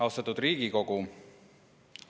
Austatud Riigikogu!